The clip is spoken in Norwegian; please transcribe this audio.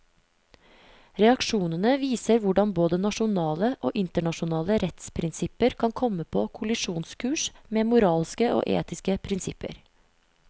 Reaksjonene viser hvordan både nasjonale og internasjonale rettsprinsipper kan komme på kollisjonskurs med moralske og etiske prinsipper.